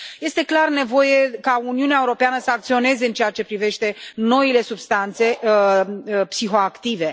Este clar nevoie ca Uniunea Europeană să acționeze în ceea ce privește noile substanțe psihoactive.